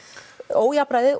ójafnræðið